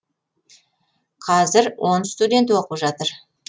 қазір он студент оқып жатыр